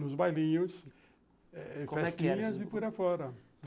Nos bailinhos, eh eh festinhas e por aí afora.